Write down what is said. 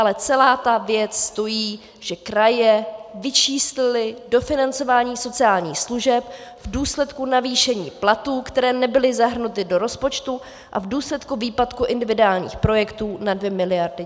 Ale celá ta věc stojí, že kraje vyčíslily dofinancování sociálních služeb v důsledku navýšení platů, které nebyly zahrnuty do rozpočtu, a v důsledku výpadku individuálních projektů na 2 miliardy.